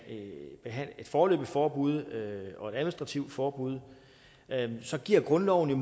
behandle et foreløbigt forbud og et administrativt forbud så giver grundloven jo